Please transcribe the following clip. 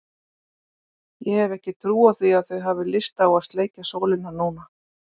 Ég hef ekki trú á því að þau hafi lyst á að sleikja sólina núna.